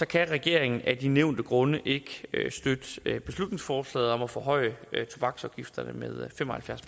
kan regeringen af de nævnte grunde ikke støtte beslutningsforslaget om at forhøje tobaksafgifterne med fem og halvfjerds